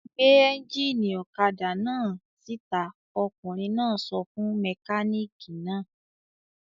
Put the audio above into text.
"Gbé ẹ́ńjínì ọ̀kadà náà síta!" Ọkùnrin náà sọ fún mẹkáníkì náà.